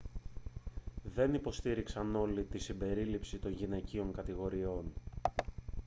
δεν υποστήριξαν όλοι την συμπερίληψη των γυναικείων κατηγοριών